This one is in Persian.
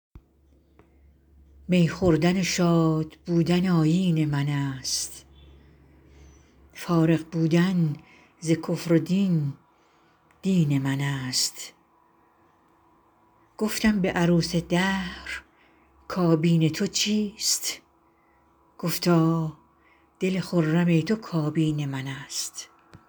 می خوردن و شادبودن آیین من است فارغ بودن ز کفر و دین دین من است گفتم به عروس دهر کابین تو چیست گفتا دل خرم تو کابین من است